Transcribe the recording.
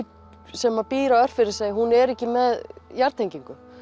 sem býr á Örfirisey hún er ekki með jarðtengingu